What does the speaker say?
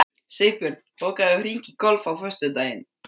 Sigbjörn, bókaðu hring í golf á föstudaginn.